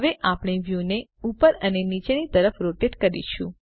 હવે આપણે વ્યુને ઉપર અને નીચેની તરફ રોટેટ કરીશું